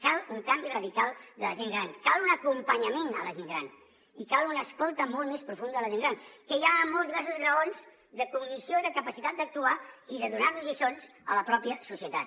cal un canvi radical de la gent gran cal un acompanyament a la gent gran i cal una escolta molt més profunda de la gent gran que hi ha molts diversos graons de cognició i de capacitat d’actuar i de donar nos lliçons a la pròpia societat